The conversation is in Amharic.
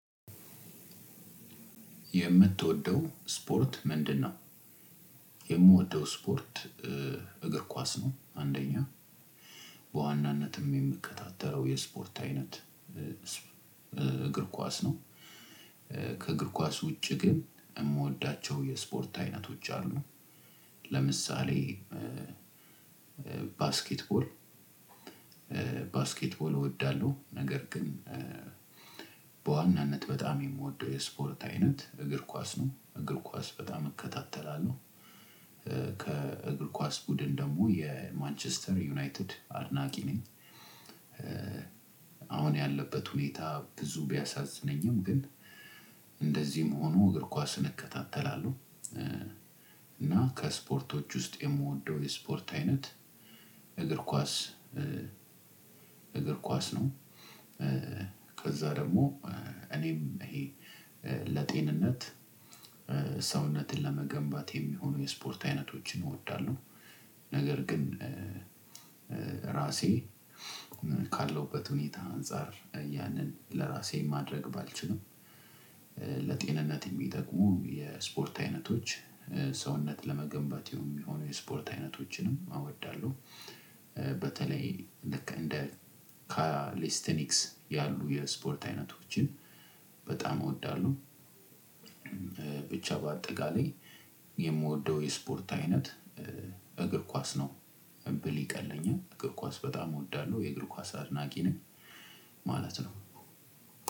የምትወደው ስፖርት ምንድነው? የምወደው እስፖርት እግር ኳስ ነው። አንደኛ በዋናነትም የምከታተለው የስፖርት አይነት እግር ኳስ ነው። ከእግር ኳስ ውጪ ግን የምወዳቸው የስፖርት አይነቶች አሉ። ለምሳሌ ባስኬት ቦል ባስኬት ቦል አወዳለው ነገር ግን። በዋናነት በጣም የምወደው የስፖርት አይነት እግር ኳስ ነው እግር ኳስ በጣም እከታተላለሁ። ከእግር ኳስ ቡድን ደግሞ የማንችስተር ዩናይትድ አድናቂ ነኝ። አሁን ያለበት ሁኔታ ብዙ ቢያሳዝነኝም ግን እንደዚህም ሆኖ እግር ኳስን እከታተላለሁ። እና ከስፖርቶች ውስጥ የምወደው የስፖርት አይነት እግር ኳስ እግር ኳስ ነው። በዛ ደግሞ እኔም ለጤንነት ሰውነት ለመገንባት የሚሆኑ የስፖርት አይነቶችን አወዳለሁ። ነገር ግን ራሴ ካለውበት ሁኔታ አንፃር ያንን ለራሴ ማድረግ ባልችልም። ለጤንነት የሚጠቅሙ የስፖርት አይነቶች ሰውነት ለመገንባት የሚሆኑ የስፖርት አይነቶችንም አወዳለው። በተለይ ልክ እንደ ካሊስትኒክስ ያሉ የስፖርት አይነቶችን በጣም እወዳለሁ። ብቻ በአጠቃላይ የምወደው የስፖርት አይነት እግር ኳስ ነው ብል ይቀለኛል እግር ኳስ በጣም እወድለሁ። የእግር ኳስ አድናቂ ነኝ ማለት ነው።